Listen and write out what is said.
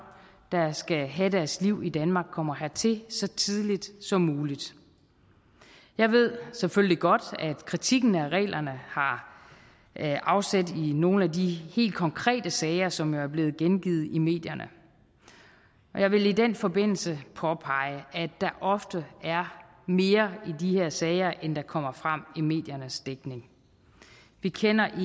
der skal have deres liv i danmark kommer hertil så tidligt som muligt jeg ved selvfølgelig godt at kritikken af reglerne har afsæt i nogle af de helt konkrete sager som er blevet gengivet i medierne jeg vil i den forbindelse påpege at der ofte er mere i de her sager end der kommer frem i mediernes dækning vi kender